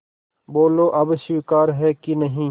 बोलो अब स्वीकार है कि नहीं